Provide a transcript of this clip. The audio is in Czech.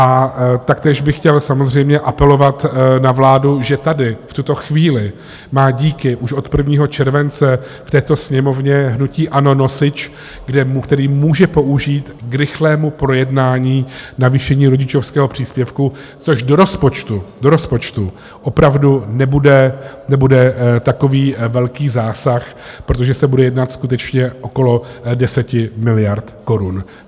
A taktéž bych chtěl samozřejmě apelovat na vládu, že tady v tuto chvíli má díky už od 1. července v této sněmovně hnutí ANO nosič, který může použít k rychlému projednání navýšení rodičovského příspěvku, což do rozpočtu opravdu nebude takový velký zásah, protože se bude jednat skutečně okolo 10 miliard korun.